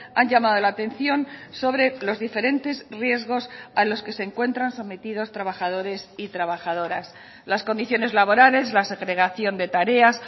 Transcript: han llamado la atención sobre los diferentes riesgos a los que se encuentran sometidos trabajadores y trabajadoras las condiciones laborales la segregación de tareas